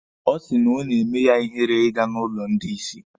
Ọ sị na o na-eme ya ihere ịga n'ụlọ ndị isi.